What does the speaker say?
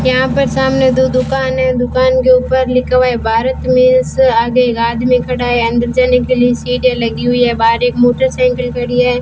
यहां पर सामने दो दुकान है दुकान के ऊपर लिखा हुआ है भारत मेल्स आगे एक आदमी खड़ा है अंदर जाने के लिए लगी सीढ़ियां लगी हुई है बाहर एक मोटर साईकिल खड़ी है।